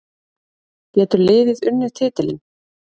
Getur liðið unnið titilinn?